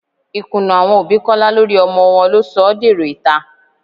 Ìkùnnà àwọn òbí Kọ́lá lórí ọmọ wọn ló sọ ọ́ dèrò ìta